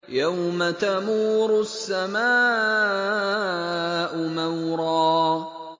يَوْمَ تَمُورُ السَّمَاءُ مَوْرًا